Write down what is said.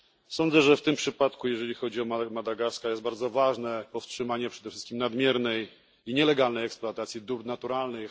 Sądzę, że w tym przypadku, jeżeli chodzi o Madagaskar, bardzo ważne jest powstrzymanie przede wszystkim nadmiernej i nielegalnej eksploatacji dóbr naturalnych.